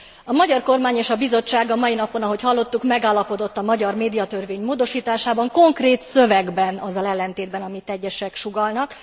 A magyar kormány és a Bizottság a mai napon, ahogy hallottuk, megállapodott a magyar médiatörvény módosításában, konkrét szövegben, azzal ellentétben, amit egyesek sugallnak.